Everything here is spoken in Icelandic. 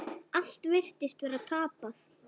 Allt virtist vera tapað.